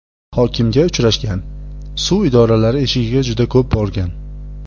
Hokimga uchrashgan, suv idoralari eshigiga juda ko‘p borgan.